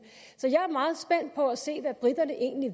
så at se hvad briterne egentlig